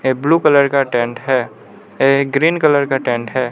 ये blue colour का tent है ये ग्रीन कलर का टेंट है।